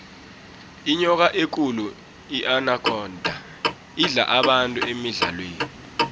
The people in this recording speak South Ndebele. inyoka ekulu inakhonda idla abantu emidlalweni